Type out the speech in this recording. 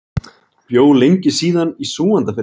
Bjó lengi síðan í Súgandafirði.